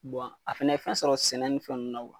a fɛnɛ fɛn sɔrɔ sɛnɛ ni fɛn nunnu na